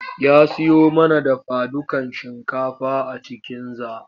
Ya siyo mana dafadukan shinkafa a cikinza.